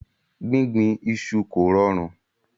Gbígbìn iṣu kò rọrùn.